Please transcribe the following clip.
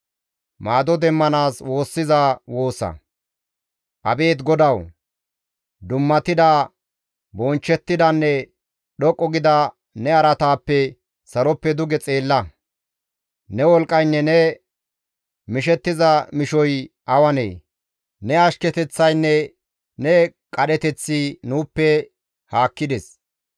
Abeet GODAWU, dummatida, bonchchettidanne dhoqqu gida ne araataappe saloppe duge xeella; ne wolqqaynne ne mishettiza mishoy awanee? ne ashketeththaynne ne qadheteththi nuuppe haakkides.